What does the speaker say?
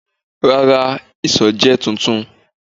Rara, iṣọ jẹ tuntun